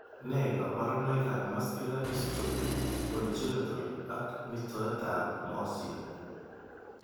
Nee kabarunoikab Muscular dystrophy, congenital ,ak mitoetab moresin .